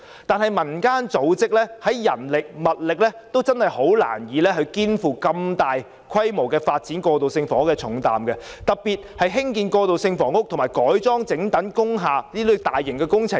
然而，民間組織的人力物力難以肩負如此大規模發展過渡性房屋的重擔，特別是興建過渡性房屋及改裝整幢工廈等大型工程。